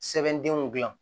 Sɛbɛndenw dilan